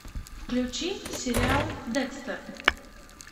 включи сериал декстер